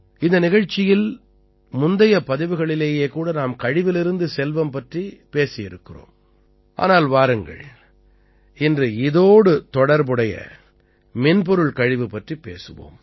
இந்த நிகழ்ச்சியில் முந்தைய பகுதிகளிலேயே கூட நாம் கழிவிலிருந்து செல்வம் பற்றி பேசியிருக்கிறோம் ஆனால் வாருங்கள் இன்றும் இதோடு தொடர்புடைய மின்பொருள் கழிவு பற்றிப் பேசுவோம்